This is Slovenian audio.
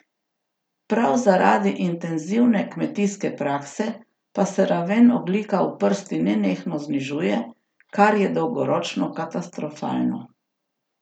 Prav zaradi intenzivne kmetijske prakse pa se raven ogljika v prsti nenehno znižuje, kar je dolgoročno katastrofalno.